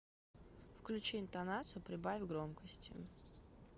включи интонацию прибавь громкости